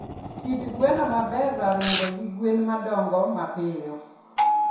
Kit gweno maber Ra ring'o gi gwen ma dongo mapiyo.